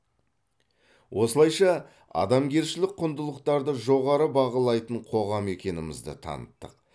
осылайша адамгершілік құндылықтарды жоғары бағалайтын қоғам екенімізді таныттық